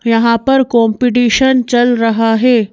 यहाँ पर कॉम्पिटिशन चल रहा है।